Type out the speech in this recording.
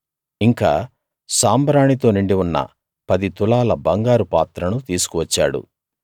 ఇంకా సాంబ్రాణి తో నిండి ఉన్న పది తులాల బంగారు పాత్రను తీసుకు వచ్చాడు